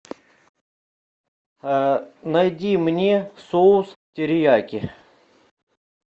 найди мне соус терияки